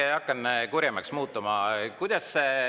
Ma hakkan natuke kurjemaks muutuma.